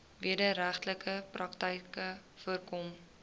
wederregtelike praktyke voorkom